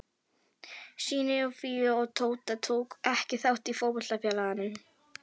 Synir Fíu og Tóta tóku ekki þátt í fótboltafélaginu.